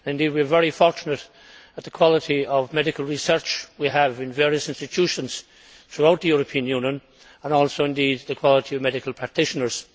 We are very fortunate with the quality of medical research we have in various institutions throughout the European Union, and also with the quality of medical practitioners.